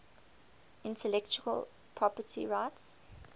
intellectual property rights